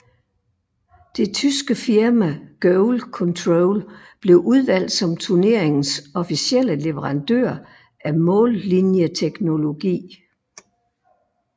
Det tyske firma GoalControl blev udvalgt som turneringens officielle leverandør af mållinjeteknologi